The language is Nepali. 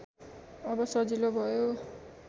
अब सजिलो भयो